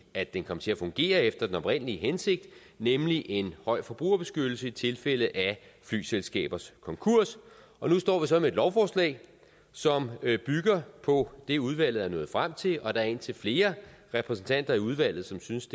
at den kom til at fungere efter den oprindelige hensigt nemlig en høj forbrugerbeskyttelse i tilfælde af flyselskabers konkurs og nu står vi så med et lovforslag som bygger på det udvalget er nået frem til og der er indtil flere repræsentanter i udvalget som synes